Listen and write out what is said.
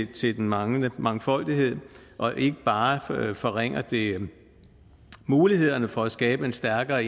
til den manglende mangfoldighed og ikke bare forringer det mulighederne for at skabe en stærkere